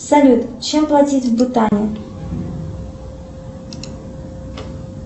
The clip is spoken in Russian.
салют чем платить в бутане